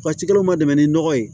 Waatikɛlaw ma dɛmɛ ni nɔgɔ ye